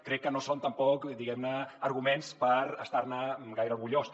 crec que no són tampoc diguem ne arguments per estar ne gaire orgullós